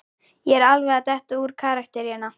Ég er alveg að detta úr karakter hérna.